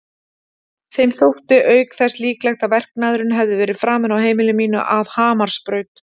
Þeim þótti auk þess líklegt að verknaðurinn hefði verið framinn á heimili mínu að Hamarsbraut.